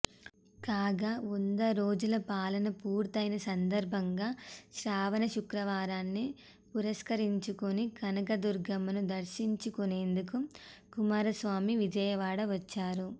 కాగా వంద రోజుల పాలన పూర్తయిన సందర్భంగా శ్రావణ శుక్రవారాన్ని పురస్కరించుకుని కనకదుర్గమ్మను దర్శించుకునేందుకు కుమారస్వామి విజయవాడ వచ్చారు